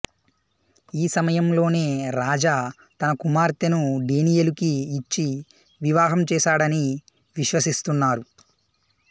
ఈ సమయంలోనే రాజా తన కుమార్తెను డేనియలుకి ఇచ్చి వివాహం చేసాడని విశ్వసిస్తున్నారు